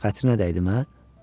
Xətrinə dəydi, hə?